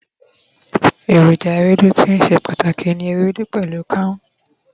eroja Ewédú ti í se pàtàkì ni Ewédú pẹlu kaun